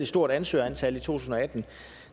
stort ansøgerantal i to tusind og atten